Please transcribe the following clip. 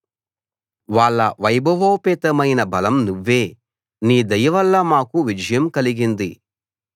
వాళ్ళ వైభవోపేతమైన బలం నువ్వే నీ దయవల్ల మాకు విజయం కలిగింది